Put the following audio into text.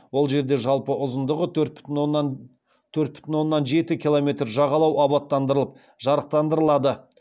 ол жерде жалпы ұзындығы төрт бүтін оннан жеті километр жағалау абаттандырылып жарықтандырылады